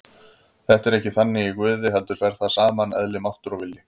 Þetta er ekki þannig í Guði heldur fer þar saman eðli, máttur og vilji.